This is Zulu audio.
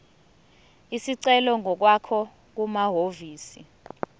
isicelo ngokwakho kumahhovisi